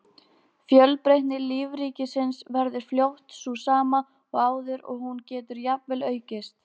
Fjölbreytni lífríkisins verður fljótt sú sama og áður og hún getur jafnvel aukist.